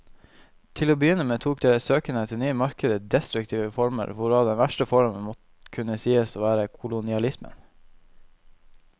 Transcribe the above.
Til å begynne med tok deres søken etter nye markeder destruktive former, hvorav den verste formen må kunne sies å være kolonialismen.